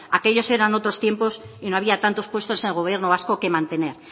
aquellos eran otros tiempos y no había tantos puestos en el gobierno vasco que mantener